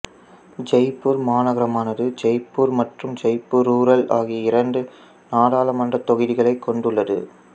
ஜெய்ப்பூர் மாநகரமானது ஜெய்ப்பூர் மற்றும் ஜெய்ப்பூர் ரூரல் ஆகிய இரண்டு நாடாளுமன்றத் தொகுதிகளைக் கொண்டுள்ளது